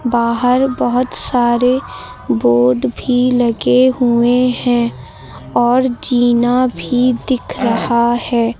बाहर बहोत सारे बोर्ड भी लगे हुए हैं और जीना भी दिख रहा है।